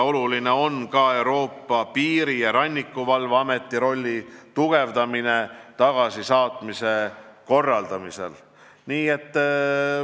Oluline on veel tugevdada Euroopa Piiri- ja Rannikuvalve Ameti rolli tagasisaatmise korraldamisel.